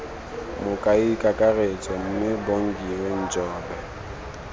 mokaedi kakaretso mme bongiwe njobe